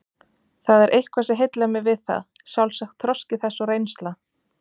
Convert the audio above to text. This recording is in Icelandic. Það er eitthvað sem heillar mig við það, sjálfsagt þroski þess og reynsla.